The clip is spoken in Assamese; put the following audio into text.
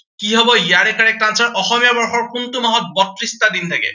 কি হব ইয়াৰে correct answer অসমীয়া বৰ্ষৰ কোনটো মাহত বত্ৰিশটা দিন থাকে।